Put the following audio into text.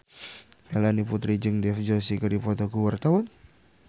Melanie Putri jeung Dev Joshi keur dipoto ku wartawan